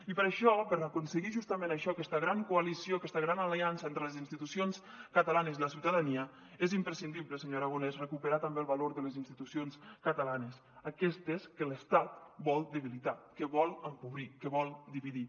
i per això per aconseguir justament això aquesta gran coalició aquesta gran aliança entre les institucions catalanes i la ciutadania és imprescindible senyor aragonès recuperar també el valor de les institucions catalanes aquestes que l’estat vol debilitar que vol empobrir que vol dividir